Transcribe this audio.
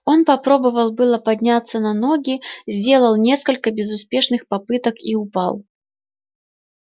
он попробовал было подняться на ноги сделал несколько безуспешных попыток и упал